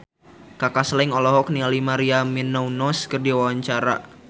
Kaka Slank olohok ningali Maria Menounos keur diwawancara